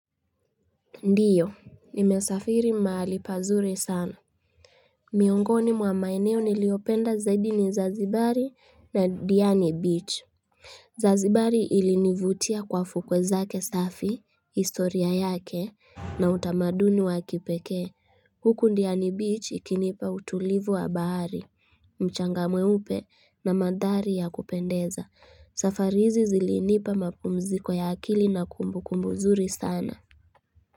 Ndiyo, nimesafiri mahali pazuri sana. Miongoni mwa maeneo niliopenda zaidi ni Zanzibari na Diani Beach. Zazibari ilinivutia kwa fukwe zake safi, historia yake, na utamaduni wakipekee. Huku Diani Beach ikinipa utulivu wa bahari, mchanga mweupe na mandhari ya kupendeza. Safari hizi zilinipa mapumziko ya akili na kumbu kumbubzuri sana.